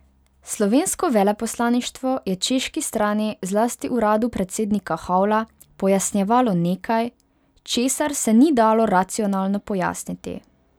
Slovensko veleposlaništvo je češki strani, zlasti uradu predsednika Havla, pojasnjevalo nekaj, česar se ni dalo racionalno pojasniti.